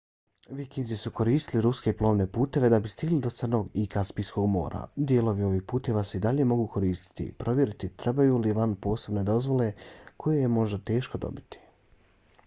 vikinzi su koristili ruske plovne puteve da bi stigli do crnog i kaspijskog mora. dijelovi ovih puteva se i dalje mogu koristiti. provjerite trebaju li vam posebne dozvole koje je možda teško dobiti